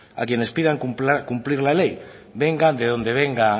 a quienes pidan cumplir la ley venga de donde venga